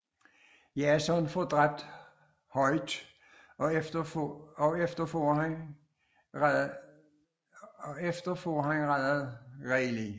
Jason får dræbt Hoyt og efter får han reddet Riley